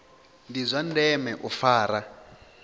ndi zwa ndeme u fara